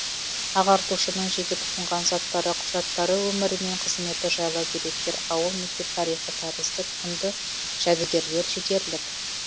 ағартушының жеке тұтынған заттары құжаттары өмірі мен қызметі жайлы деректер ауыл мектеп тарихы тәрізді құнды жәдігерлер жетерлік